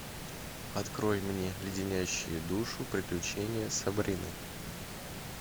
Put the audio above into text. открой мне леденящие душу приключения сабрины